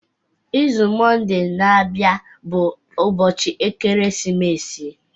Izu Mọnde na-abịa bụ ụbọchị ekeresimesi.